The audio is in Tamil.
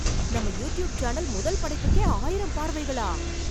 நம்ம யூட்யூப் சேனல் முதல் படைப்புக்கே ஆயிரம் பார்வைகளா.